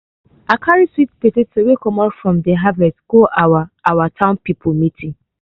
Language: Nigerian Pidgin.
i carry sweet potatoes wey comot from de harvest go our our town people meeting.